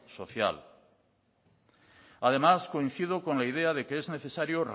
social además coincido con la idea de que es necesario